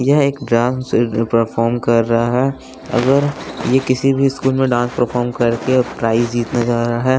यह एक ड्रांस ए प्रफॉर्म कर रहा है अगर ये किसी भी स्कूल में डांस प्रफॉर्म करके प्राइज जीतने जा रहा है।